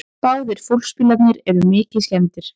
Báðir fólksbílarnir eru mikið skemmdir